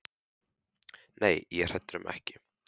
Nei, ég er hræddur um ekki.